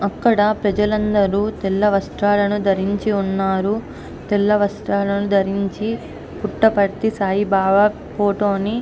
ప్రజలందరూ తెల్ల వస్త్రాలను ధరించి ఉన్నారు. తెల్ల వస్త్రాలు ధరించి పుట్టపర్తి సాయిబాబా ఫోటోని --